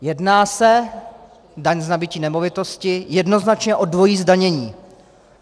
Jedná se - daň z nabytí nemovitosti - jednoznačně o dvojí zdanění.